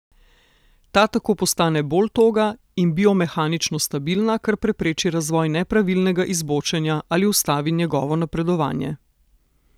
Ta tako postane bolj toga in biomehanično stabilna, kar prepreči razvoj nepravilnega izbočenja ali ustavi njegovo napredovanje.